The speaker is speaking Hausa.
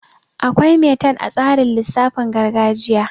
Akwai metan a tsarin lisaafin gargajiya